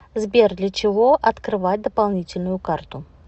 сбер для чего открывать дополнительную карту